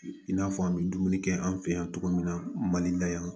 I n'a fɔ an bɛ dumuni kɛ an fɛ yan cogo min na mali la yan